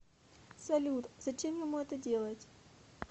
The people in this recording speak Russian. салют зачем ему это делать